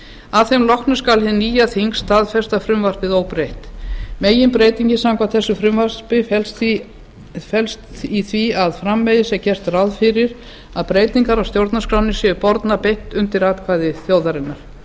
að þeim loknum skal hið nýja þing staðfesta frumvarpið óbreytt meginbreytingin samkvæmt þessu frumvarpi felst í því að framvegis er gert ráð fyrir að breytingar á stjórnarskránni séu bornar beint undir atkvæði þjóðarinnar